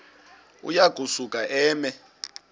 uya kusuka eme